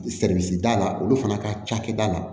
da la olu fana ka cakɛda la